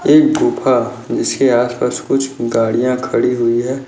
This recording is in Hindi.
एक गुफा जिसके आस पास कुछ गाड़िया खड़ी हुई है।